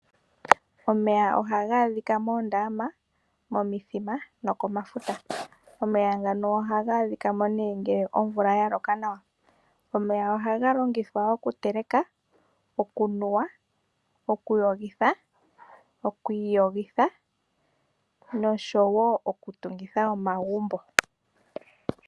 Omeya oha gaa dhika moondama, momithima noko mafuta. Omeya ngano oha gaa dhikamo nee ngee omvula ya loka nawa, omeya oha ga longithwa okuteleka, okunuwa, okuyogitha, okwiiyogitha nosho woo oku tungitha omagumbo.